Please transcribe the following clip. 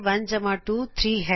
1 ਜਮ੍ਹਾ 2 ਤਿਨ ਹੈ